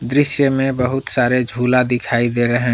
दृश्य में बहुत सारे झूला दिखाई दे रहे हैं।